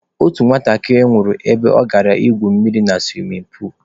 Otu nwatakịrị nwụrụ ebe ọ gara ígwù mmiri na suwimin puulu.